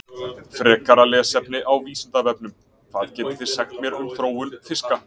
Frekara lesefni á Vísindavefnum: Hvað getið þið sagt mér um þróun fiska?